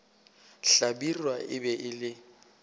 hlabirwa e be e le